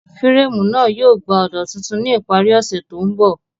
Fírèmù náà yóò gbà ọ̀dà tuntun ní ìparí ọ̀sẹ̀ tó ń bọ̀